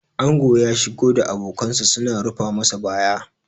ango ya shigo da abokansa suna rufa masa baya